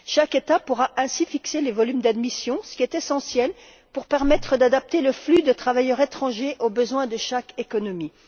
Chaque État pourra ainsi fixer les volumes d'admission, ce qui est essentiel, pour permettre d'adapter le flux de travailleurs étrangers au besoin de chaque économie.